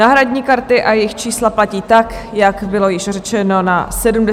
Náhradní karty a jejich čísla platí tak, jak bylo již řečeno na 71. schůzi.